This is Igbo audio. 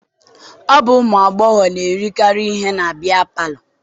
Ọ bụ ụmụ agbọghọ na-erekarị ihe na biya palọ.